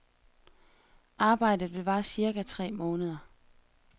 Arbejdet vil vare cirka tre måneder.